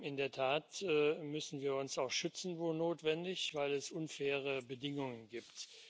In der Tat müssen wir uns auch schützen, wo notwendig, weil es unfaire Bedingungen gibt.